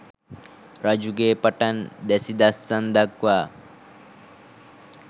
රජුගේ පටන් දැසි දස්සන් දක්වා